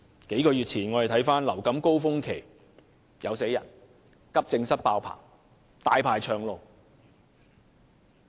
數月前的流感高峰期，有病人死亡，急症室爆滿，候診者"大排長龍"。